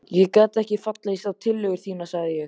Ég get ekki fallist á tillögur þínar sagði ég.